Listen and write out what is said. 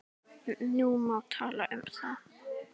Nú má tala um þá.